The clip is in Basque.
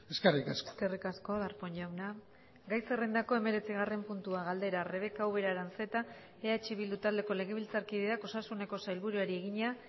eskerrik asko eskerrik asko darpón jauna gai zerrendako hemeretzigarren puntua galdera rebeka ubera aranzeta eh bildu taldeko legebiltzarkideak osasuneko sailburuari egina